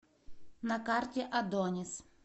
на карте адонис